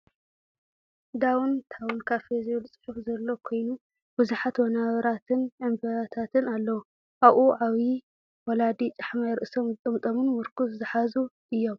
ዳውን ታውን ካፌ ዝብል ፅሑፍ ዘሎ ኮይኑ ብዙሓት ወናብራትን ዕንበባታትን ኣለው። ኣብኡ ዓብዩ ወላዲ ጫሕማይ ርእሶም ዝጠምጠሙ ን ምርኵስ ዝሓዙ እዮም።